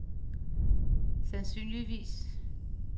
sandsynligvis